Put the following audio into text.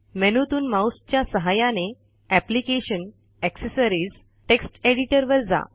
मेनूतून माऊसच्या सहाय्याने application gtaccessories gtext editor वर जा